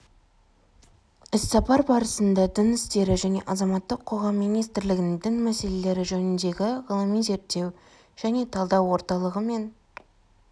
іссапар барысында дін істері және азаматтық қоғам министрлігінің дін мәселелері жөніндегі ғылыми-зерттеу және талдау орталығы мен